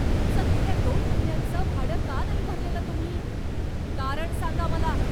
तुमचं गेल्या दोन महिन्यांचं भाडं का नाही भरलेलं तुम्ही? कारण सांगा मला.